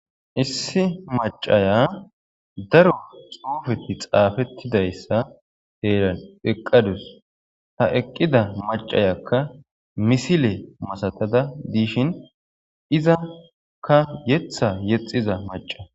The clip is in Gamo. issi macaya daro xuufeti xaafettidayssa heeran eqqadus ha eqqida macayakka misile masatada diishin izakka yeththa yexiza maca